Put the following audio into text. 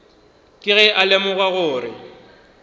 ke ge a lemoga gore